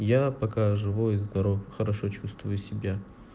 я пока живой и здоров хорошо чувствую себя